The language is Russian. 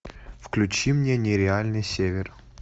включи мне нереальный север